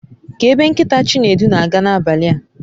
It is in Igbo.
Kee ebe nkita Chinedu n'aga nabali a